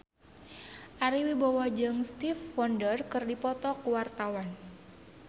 Ari Wibowo jeung Stevie Wonder keur dipoto ku wartawan